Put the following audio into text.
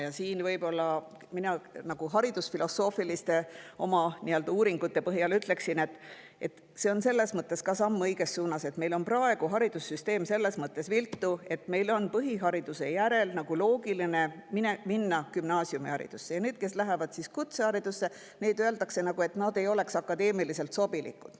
Ja siin mina oma haridusfilosoofiliste uuringute põhjal ütleksin, et see on ka selles mõttes samm õiges suunas, et meil on praegu haridussüsteem viltu selles mõttes, et meil on põhihariduse järel loogiline minna gümnaasiumisse ja nende kohta, kes lähevad kutse, öeldakse, et nad ei ole akadeemiliselt sobilikud.